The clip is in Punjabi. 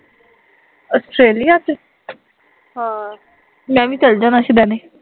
ਔਸਟ੍ਰੇਲਿਆ ਸੀ ਆਹ ਮੈਂ ਵੀ ਚੱਲ ਜਾਣਾ ਸ਼ੂਦਏਨੇ